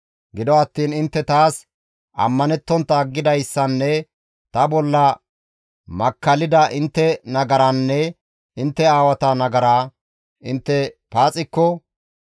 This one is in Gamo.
« ‹Gido attiin intte taas ammanettontta aggidayssanne ta bolla makkallida intte nagaraanne intte aawata nagaraa intte paaxikko,